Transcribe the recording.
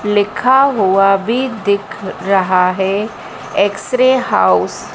लिखा हुआ भी दिख रहा है एक्स रे हाउस ।